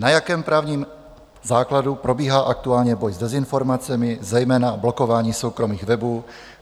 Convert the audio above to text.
Na jakém právním základu probíhá aktuálně boj s dezinformacemi, zejména blokování soukromých webů?